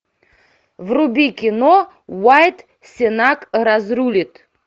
вруби кино уайат сенак разрулит